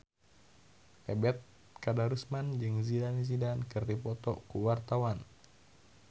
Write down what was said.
Ebet Kadarusman jeung Zidane Zidane keur dipoto ku wartawan